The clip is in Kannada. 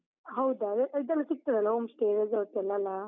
ಹೌದಾ, ಅದೇ ಇದೆಲ್ಲ ಸಿಗ್ತದಲ್ಲ home stay, resort ಎಲ್ಲ ಅಲಾ?